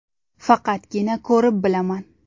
Faqatgina ko‘rib bilaman.